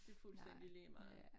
Det fuldstændig ligemeget